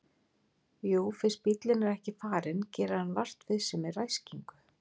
Jú fyrst bíllinn er ekki farinn gerir hann vart við sig með ræskingu.